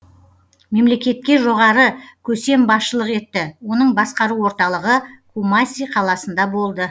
мемлекетке жоғары көсем басшылық етті оның басқару орталығы кумаси қаласында болды